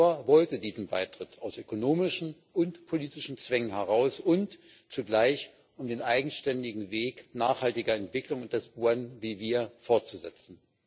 Ecuador wollte diesen Beitritt aus ökonomischen und politischen Zwängen heraus und zugleich, um den eigenständigen Weg nachhaltiger Entwicklungen des Buen Vivis fortzusetzen.